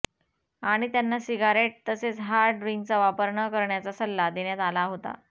आणि त्यांना सिगारेट तसेच हार्ड ड्रिंकचा वापर न करण्याचा सल्ला देण्यात आला होता